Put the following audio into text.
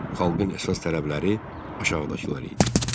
Xalqın əsas tələbləri aşağıdakılar idi: